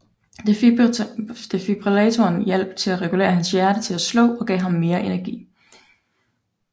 Defibrillatoren hjalp til regulere hans hjerte til at slå og gav ham mere energi